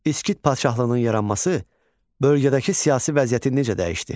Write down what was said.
İskit padşahlığının yaranması bölgədəki siyasi vəziyyəti necə dəyişdi?